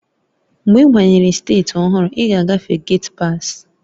Mgbe ị banyere steeti ọhụrụ, ị ga-agafe getpas